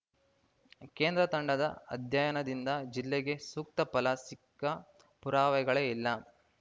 ಕೇಂದ್ರ ತಂಡದ ಅಧ್ಯಯನದಿಂದ ಜಿಲ್ಲೆಗೆ ಸೂಕ್ತ ಫಲ ಸಿಕ್ಕ ಪುರಾವೆಗಳೇ ಇಲ್ಲ